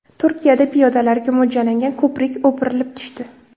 Turkiyada piyodalarga mo‘ljallangan ko‘prik o‘pirilib tushdi .